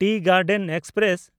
T Garden express